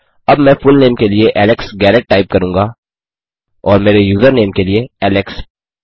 अब मैं फुलनेम के लिए एलेक्स गैरेट टाइप करूँगा और मेरे यूज़रनेम के लिए एलेक्स